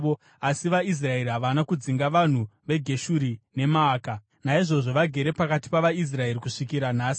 Asi vaIsraeri havana kudzinga vanhu veGeshuri neMaaka, naizvozvo vagere pakati pavaIsraeri kusvikira nhasi.